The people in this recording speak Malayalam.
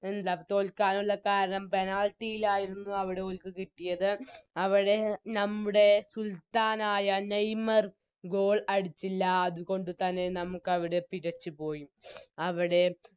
എന്താ തോൽക്കാനുള്ള കാരണം Penalty ലായിരുന്നു അവിടെ ഓൽക്ക് കിട്ടിയത് അവിടെ നമ്മുടെ സുൽത്താനായ നെയ്‌മർ Goal അടിച്ചില്ല അതുകൊണ്ട് തന്നെ നമുക്കവിടെ പിഴച്ചുപോയി അവിടെ